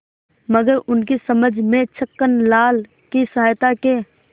मगर उनकी समझ में छक्कनलाल की सहायता के